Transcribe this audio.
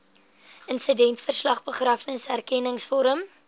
insidentverslag begrafnisrekenings vorm